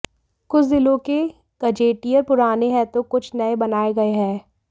कुछ जिलों के गजेटियर पुराने हैं तो कुछ नए बनाए गए हैं